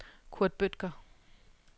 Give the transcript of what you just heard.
Kurt Bødker